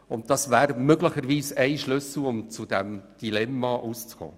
Dies wäre möglicherweise ein Schlüssel, um aus dem Dilemma zu kommen.